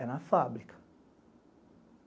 É na fábrica.